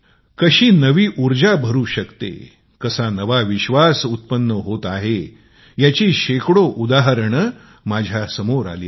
कशी नवी ऊर्जा आहे कसा नवा विश्वास उत्पन्न होत आहे याचे शेकडो उदाहरणे माझ्या समोर आली आहेत